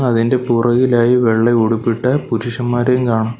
അതിൻ്റെ പുറകിലായി വെള്ള ഉടുപ്പിട്ട പുരുഷന്മാരെയും കാണാം.